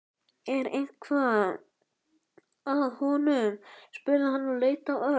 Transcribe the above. Er eitthvað að honum? spurði hann og leit á Örn.